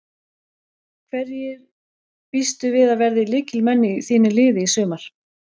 Hverjir býstu við að verði lykilmenn í þínu liði í sumar?